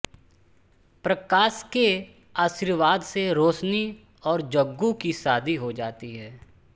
प्रकाश के आशीर्वाद से रोशनी और जग्गू की शादी हो जाती है